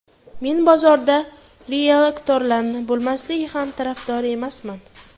Men bozorda rieltorlarning bo‘lmasligi ham tarafdori emasman.